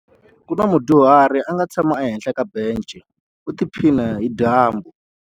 Ku na mudyuhari a nga tshama ehenhla ka bence u tiphina hi dyambu.